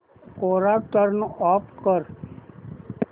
कोरा turn off कर